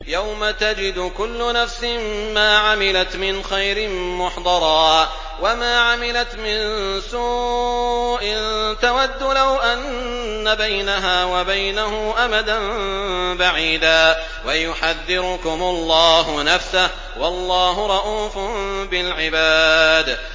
يَوْمَ تَجِدُ كُلُّ نَفْسٍ مَّا عَمِلَتْ مِنْ خَيْرٍ مُّحْضَرًا وَمَا عَمِلَتْ مِن سُوءٍ تَوَدُّ لَوْ أَنَّ بَيْنَهَا وَبَيْنَهُ أَمَدًا بَعِيدًا ۗ وَيُحَذِّرُكُمُ اللَّهُ نَفْسَهُ ۗ وَاللَّهُ رَءُوفٌ بِالْعِبَادِ